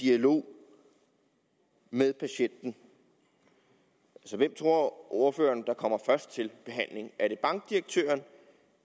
dialog med patienten hvem tror ordføreren så kommer først til behandling er det bankdirektøren